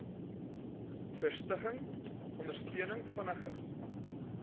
vestiging ondersteuning vinniger